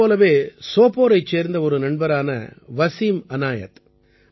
இதைப் போலவே சோபோரைச் சேர்ந்த ஒரு நண்பரான வசீம் அநாயத்